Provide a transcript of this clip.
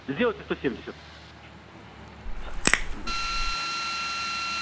сделать сто семьдесят хорошо ещё машину ждать